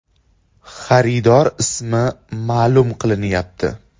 Xaridor ismi ma’lum qilinmayapti.